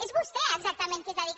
és vostè exactament qui es dedica